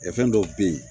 Kɛ fɛn dɔw bɛ ye